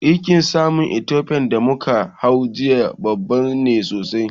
Jirgin saman Ethofian da muka hau jiya babba ne sosai